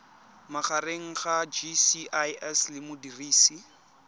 magareng ga gcis le modirisi